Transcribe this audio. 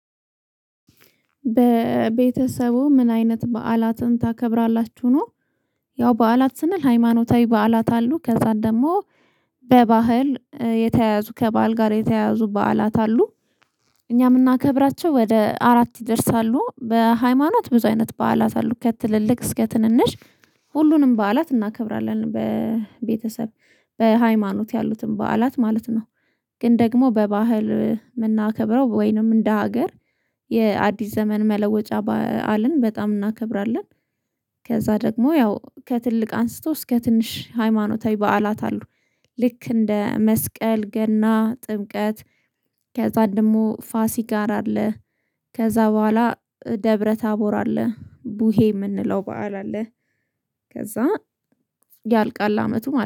በቤተሰቡ ምን አይነት በዓላትን ታከብራላችሁ? ነው ያው በዓላት ስንል ሃይማኖታዊ በዓላት አሉ ከዛን ደግሞ በባህል የተያዙ ከበዓል ጋር የተያዙ በዓላት አሉ፣ እኛ የምናከብራቸው ወደ አራት ይደርሳሉ በሃይማኖት ብዙ አይነት በዓላት አሉ ከትልልቅ እስከ ትንንሽ ሁሉንም በዓላት እናከብራለን በቤተሰብ በሃይማኖት ያሉትን በዓላት ማለት ነው፤ ግን ደግሞ በባህል የምናከብረው ወይንም እንደ ሀገር የአዲስ ዘመን መለወጫ በዓልን በጣም እናከብራለን። ከዛ ደግሞ ያው ከትልቅ አንስቶ እስከ ትንሽ ሃይማኖታዊ በዓላት አሉ ልክ እንደ መስቀል፣ ገና፣ ጥብቀት ከዛ ደግሞ ፋሲካ አለ፣ ከዛ በኋላ ደብረ ታቦር አለ ቡሄ የምንለው በዓል አለ፣ ከዛ ያልቃል አመቱ ማለት ነው።